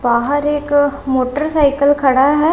बाहर एक मोटरसाइकिल खड़ा है।